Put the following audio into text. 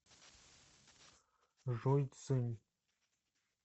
жуйцзинь